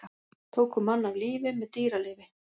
Tóku mann af lífi með dýralyfi